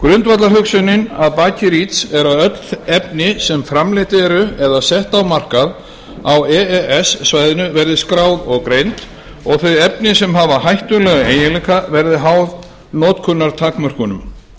grundvallarhugsunin að baki reach er að öll efni sem framleidd eru eða sett á markað á e e s svæðinu verði skráð og greind og þau efni sem hafi hættulega eiginleika verði háð notkunartakmörkunum